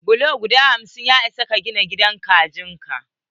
Bulo guda hamsin ya isa gina gidan kajin ka.